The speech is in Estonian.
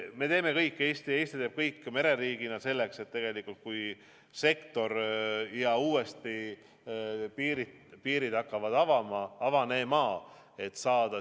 Me teeme kõik, Eesti teeb mereriigina kõik selleks, et kui sektor ja piirid hakkavad uuesti avanema, siis saada kõiki turiste siia.